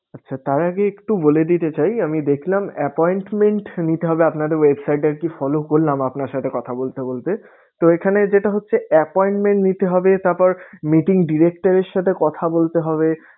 আচ্ছা তার আগে একটু বলে দিতে চাই আমি দেখলাম appointment নিতে হবে আপনাদের website এ আরকি follow করলাম আরকি আপনার সাথে কথা বলতে বলতে। তো এখানে যেটা হচ্ছে appointment নিতে হবে তারপর meeting director এর সাথে কথা বলতে হবে।